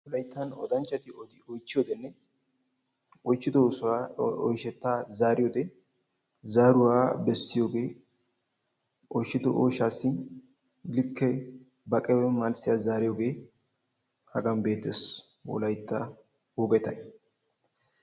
Wolayttan odanchati itchchiyodenne oychchido oosuwa oyshettaa zaariyode zaaruwa bessiyogee oychchido oyshaassi likke baqe malssiya zaariyogee Hagan beettes wolaytta wogetayi.